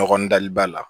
Ɲɔgɔn dali b'a la